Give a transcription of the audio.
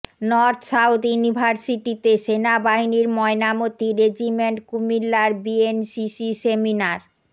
north South ইউনিভার্সিটিতে সেনাবাহিনীর Mainamati regiment কুমিল্লার বিএনসিসি সেমিনার